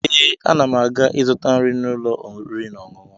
Ee, ana m aga ịzụta nri n'ụlọ oriri na ọṅụṅụ